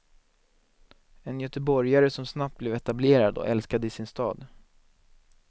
En göteborgare, som snabbt blev etablerad och älskad i sin stad.